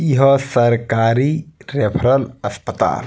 ई ह सरकारी रेफरल अस्पताल।